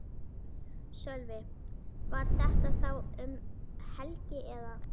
Sölvi: Var þetta þá um helgi eða?